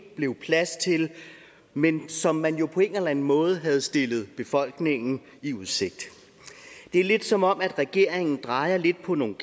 blev plads til men som man jo på en eller anden måde havde stillet befolkningen i udsigt det er lidt som om regeringen drejer lidt på nogle